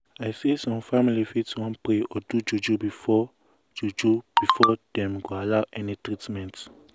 i say some family fit wan pray or do juju before juju before dem go allow any treatment.